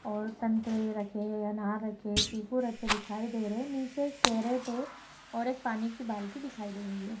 और संतरे रखे है अनार रखे है चीकू रखे दिखाई दे रहे है नीचे एक कैरेट है और एक पानी की बाल्टी दिखाई दे रही है।